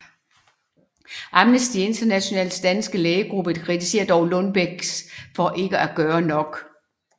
Amnesty Internationals danske lægegruppe kritiserede dog Lundbeck for ikke at gøre nok